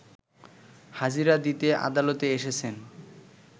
হাজিরা দিতে আদালতে এসেছেন